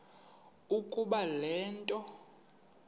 ukuba le nto